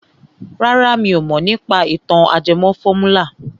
Rárá mi ò mọ̀ nípa ìtàn ajẹmọ fọ́múlà.